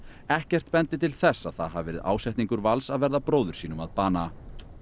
ekkert bendi til þess að það hafi verið ásetningur Vals að verða bróður sínum að bana